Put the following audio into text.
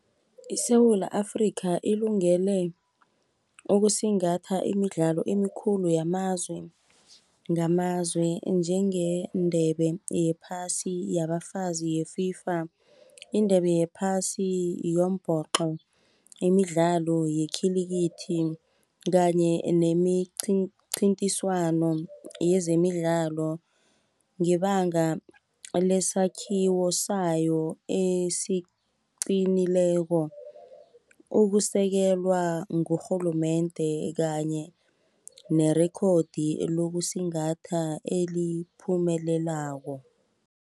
ISewula Afrika ilungele, ukusingatha imidlalo emikhulu yamazwe ngamazwe, njenge ndebe yephasi yabafazi ye-FIFA. Indebe yephasi yombhoqo, imidlalo yekhilikithi kanye nemincithiswano yezemidlalo, ngebanga lesakhiwo sayo esiqinileko, ukusekelwa ngurhulumende kanye nerekhodi lokusingatha eliphumelelako.